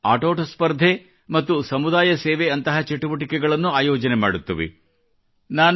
ಅವು ಆಟೋಟ ಸ್ಪರ್ಧೆ ಮತ್ತು ಸಮುದಾಯ ಸೇವೆ ನಂತಹ ಚಟುವಟಿಕೆಗಳನ್ನು ಆಯೋಜನೆ ಮಾಡುತ್ತವೆ